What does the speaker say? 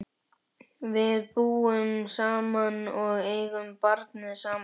Við búum saman og eigum barnið saman.